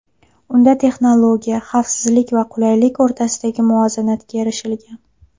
Unda texnologiya, xavfsizlik va qulaylik o‘rtasidagi muvozanatga erishilgan.